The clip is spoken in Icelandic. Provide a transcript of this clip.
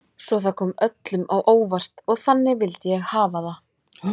Svo það kom öllum á óvart og þannig vildi ég hafa það.